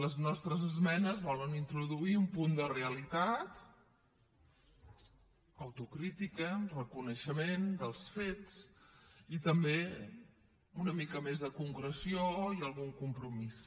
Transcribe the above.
les nostres esmenes volen introduir un punt de realitat autocrítica reconeixement dels fets i també una mica més de concreció i algun compromís